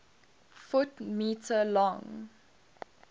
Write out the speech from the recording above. ft m long